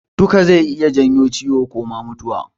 Duka zai iya janyo ciwo ko ma mutuwa.